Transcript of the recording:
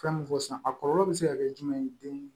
Fɛn min fɔ sisan a kɔlɔlɔ bɛ se ka kɛ jumɛn ye den